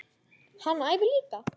Hann æfir líka.